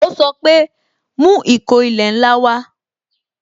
Ó sọ pé "Mú ìkó ilẹ̀ ńlá wa"